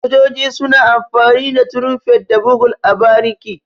Sojoji suna amfani da Tirumfet da Bugul a bariki.